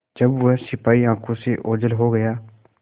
जब वह सिपाही आँखों से ओझल हो गया